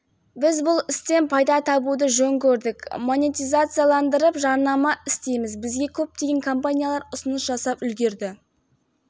одан бөлек біз алдағы уақытта оқырмандарымыздың әдемі жұбайларының фотосуреттерін де салуды жоспарлап отырмыз бірақ ең басты шарт барлығы құпия түрде жасалатын болады